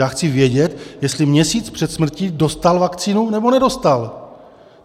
Já chci vědět, jestli měsíc před smrtí dostal vakcínu, nebo nedostal.